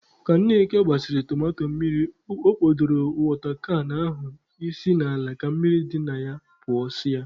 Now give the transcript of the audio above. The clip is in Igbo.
Ka Nneka gbasịrị tomato mmiri, ọ kpọdoro wọta kan ahụ isi n'ala ka mmiri dị na pụsịa.